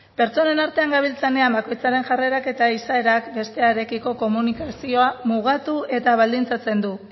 pertsonen artean gabiltzanean bakoitzaren jarrerak eta izaerak bestearekiko komunikazioa mugatu eta baldintzatzen du